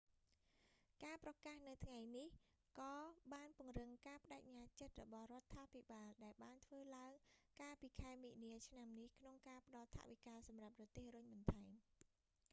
ការប្រកាសនៅថ្ងៃនេះ ក៏បានពង្រឹងការប្ដេជ្ញាចិត្តរបស់រដ្ឋាភិបាលដែលបានធ្វើឡើងកាលពីខែមីនា ឆ្នាំនេះ ក្នុងការផ្តល់ថវិកាសម្រាប់រទេះរុញបន្ថែម